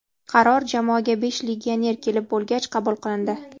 Qaror jamoaga besh legioner kelib bo‘lgach qabul qilindi.